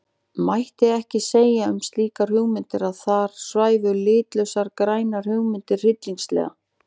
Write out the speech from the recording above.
Mætti ekki segja um slíkar hugmyndir að þar svæfu litlausar grænar hugmyndir tryllingslega?